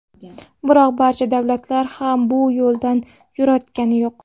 Biroq barcha davlatlar ham bu yo‘ldan yurayotgani yo‘q.